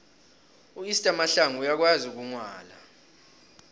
uester mahlangu uyakwazi ukugwala